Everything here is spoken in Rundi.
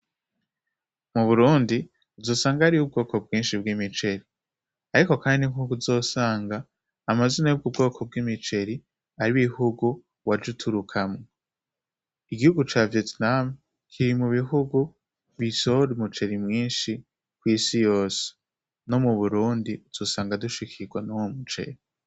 Mu burundi uzosanga ari bo ubwoko bwinshi bw'imiceri, ariko, kandi nk'uku uzosanga amazina yubwo ubwoko bw'imiceri ari ibihugu waje uturukamwo igihugu ca vietnamu kiri mu bihugu bishore umuceri mwinshi kw'isi yose no mu burundi dusanga dushikirwa n'uwo muceri.